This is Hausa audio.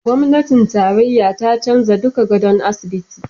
Gwamnatin tarayya ta canza duk gadon asibiti